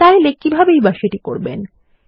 চাইলে কিভাবেই বা এটি করবেন160